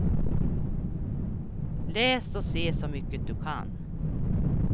Läs och se så mycket du kan.